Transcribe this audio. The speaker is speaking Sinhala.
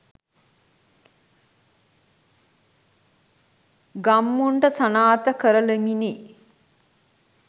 ගම්මුන්ට සනාථ කරලමිනි